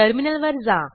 टर्मिनलवर जा